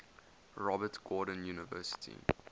robert gordon university